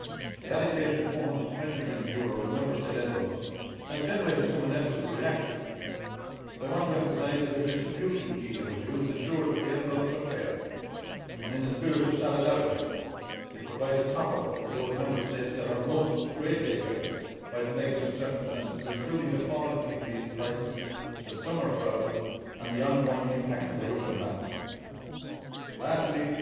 The allocation of EUR 420 million in Member State envelopes has generated some inevitable reaction, but I want to emphasise that the distribution key that was used ensures that the envelopes are fair, and in a spirit of solidarity it provides a top up for those Member States that are most greatly affected by the negative circumstances, including the fall in pigmeat prices, the summer drought and the ongoing impact of the Russian ban. Last